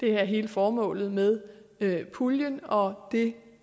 er hele formålet med puljen og det